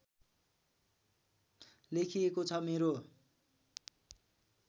लेखिएको छ मेरो